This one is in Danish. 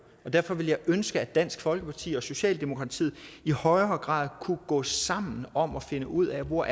derfor ville jeg ønske at dansk folkeparti og socialdemokratiet i højere grad kunne gå sammen om at finde ud af hvor